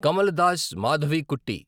Kamala Das Madhavikutty